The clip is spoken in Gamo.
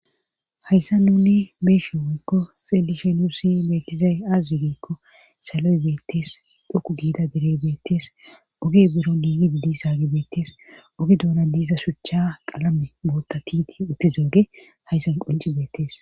Hayssa nuni beeshe woykko xelishenusi meekizay azzu giikko saloy beettes dhoku giida derey beettees oge bero diinidi disaagi beettees oge douna diiza shuchcha qalame bootta tiiti utti zooge hayssan qonci beettees